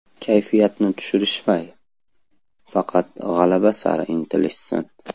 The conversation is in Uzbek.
Kayfiyatni tushirmay, faqat g‘alaba sari intilishsin.